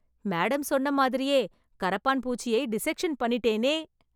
madam சொன்ன மாதிரியே, கரப்பான் பூச்சியை டிசெக்‌ஷன் பண்ணிட்டேனே...